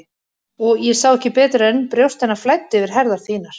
Og ég sá ekki betur en brjóst hennar flæddu yfir herðar þínar.